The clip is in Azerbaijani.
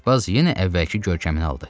Aşpaz yenə əvvəlki görkəmini aldı.